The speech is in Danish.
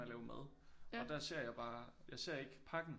At lave mad og der ser jeg bare jeg ser ikke pakken